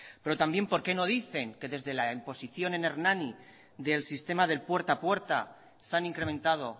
pero también por qué no dicen que desde la imposición en hernani del sistema del puerta a puerta se han incrementado